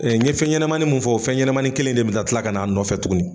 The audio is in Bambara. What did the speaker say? Ɛɛ n ye fɛnɲɛnamanin min fɔ o fɛnɲɛnamanin kelen in de bɛna tila ka n'a nɔfɛ tuguni